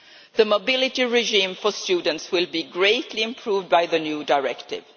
The mobility regime for students will be greatly improved by the new directive.